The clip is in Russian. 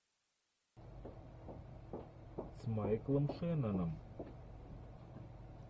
с майклом шенноном